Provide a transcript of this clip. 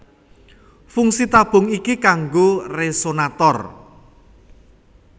Fungsi tabung iki kanggo resonator